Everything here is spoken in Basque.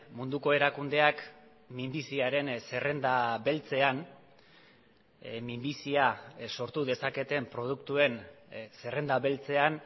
munduko erakundeak minbiziaren zerrenda beltzean minbizia sortu dezaketen produktuen zerrenda beltzean